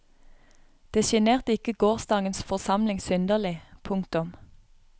Det sjenerte ikke gårsdagens forsamling synderlig. punktum